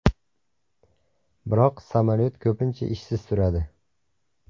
Biroq samolyot ko‘pincha ishsiz turadi.